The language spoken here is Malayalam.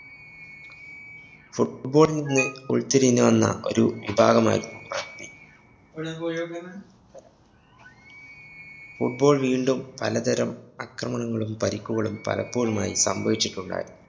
football ല്‍ നിന്ന് ഉള്‍തിരിഞ്ഞു വന്ന ഒരു വിഭാഗമായിരുന്നു rugby. Football വീണ്ടും പലതരം അക്രമണങ്ങളും പരിക്കുകളും പലപ്പോളുമായി സംഭവിചിട്ടുണ്ടായിരുന്നു.